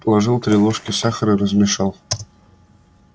положил три ложки сахара размешал